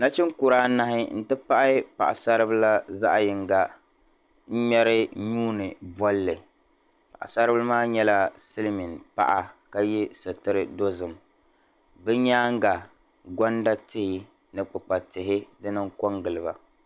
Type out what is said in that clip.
Nachin'kura anahi nti pahi paɣasaribila zaɣ'yinga m ŋmɛri nuuni bolli paɣasaribila maa nyɛla silimiin paɣa ka ye suturi dozim bɛ nyaaŋa gonda tihi ni kpikpali tihi kɔ giliba.